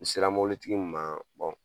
N sera mobilitigi min ma